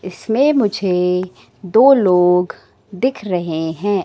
इसमें मुझे दो लोग दिख रहे हैं।